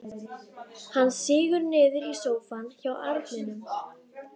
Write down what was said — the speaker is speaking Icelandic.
Hann sígur niður í sófann hjá arninum.